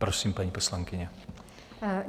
Prosím, paní poslankyně.